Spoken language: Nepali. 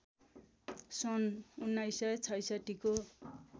सन् १९६६ को